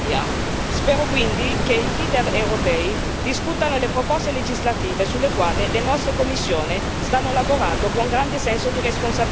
Spero quindi che i leader europei discutano le proposte legislative sulle quali le nostre commissioni stanno lavorando con grande senso di responsabilità.